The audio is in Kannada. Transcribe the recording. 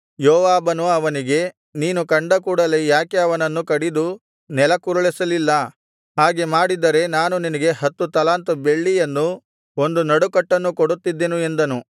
ಯೋವಾಬನು ಅವನಿಗೆ ನೀನು ಕಂಡ ಕೂಡಲೆ ಯಾಕೆ ಅವನನ್ನು ಕಡಿದು ನೆಲಕ್ಕುರುಳಿಸಲಿಲ್ಲ ಹಾಗೆ ಮಾಡಿದ್ದರೆ ನಾನು ನಿನಗೆ ಹತ್ತು ತಲಾಂತು ಬೆಳ್ಳಿಯನ್ನು ಒಂದು ನಡುಕಟ್ಟನ್ನೂ ಕೊಡುತ್ತಿದ್ದೆನು ಎಂದನು